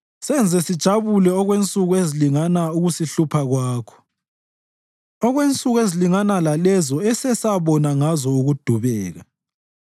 Senze sijabule okwensuku ezilingana ukusihlupha kwakho, okwensuku ezilingana lalezo esesabona ngazo ukudubeka.